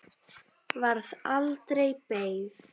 Varð aldregi beygð.